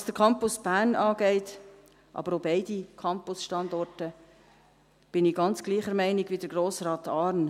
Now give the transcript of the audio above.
Was den Campus Bern angeht – aber auch beide Campusstandorte – bin ich ganz gleicher Meinung wie Grossrat Arn: